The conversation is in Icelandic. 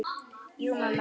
Jú mamma.